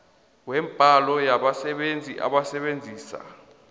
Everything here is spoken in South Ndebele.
wembalo yabasebenzi abasebenzisa